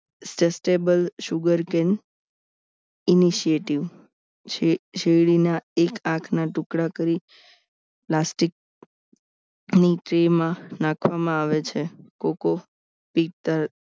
sugarcane incentives શેરડીના એક આંખના ટુકડા કરી plastic ની trey માં નાખવામાં આવે છે કોકો પીટ